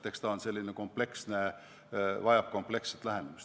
Eks see ole selline kompleksne teema, see vajab kompleksset lähenemist.